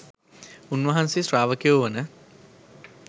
උන්වහන්සේ ශ්‍රාවකයෝ වන